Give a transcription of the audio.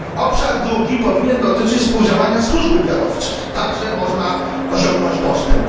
Obszar drugi powinien dotyczyć współdziałania służb wywiadowczych także można osiągnąć postęp.